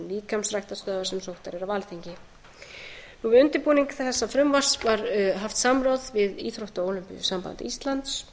líkamsræktarstöðvar sem sóttar eru af við undirbúning þessa frumvarps var haft samráð við íþrótta og ólympíusamband íslands